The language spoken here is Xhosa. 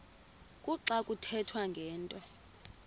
kuxa kuthethwa ngento